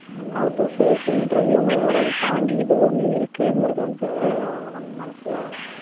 how to face interview ங்கிறதை விட இதைத் தாண்டி இது ஒண்ணு இருக்குங்கறது வந்து அதை நம்ம மனசுல